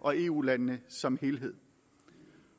og eu landene som helhed